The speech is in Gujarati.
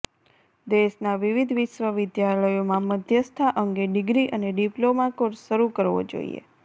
દેશના વિવિધ વિશ્વવિદ્યાલયોમાં મધ્યસ્થા અંગે ડિર્ગી અને ડિપ્લોમા કોર્સ શરૂ કરવો જોઈએ